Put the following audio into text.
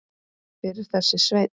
Hver er þessi Sveinn?